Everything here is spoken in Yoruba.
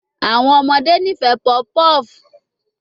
Awọn ọmọde nifẹ puff puff